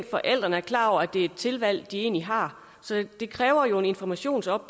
forældrene er klar over at det er et tilvalg de egentlig har så det kræver en informationsindsats